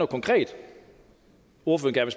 konkret ordføreren